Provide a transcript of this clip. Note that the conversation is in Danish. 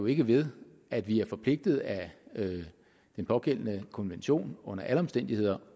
ikke ved at vi er forpligtet af den pågældende konvention under alle omstændigheder